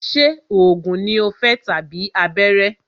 Ṣé oògùn ní o fẹ́ tàbí abẹ́rẹ́?